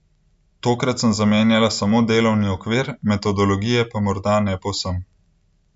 Tokrat sem zamenjala samo delovni okvir, metodologije pa morda ne povsem.